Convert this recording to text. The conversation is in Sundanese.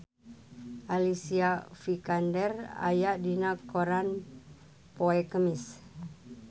Alicia Vikander aya dina koran poe Kemis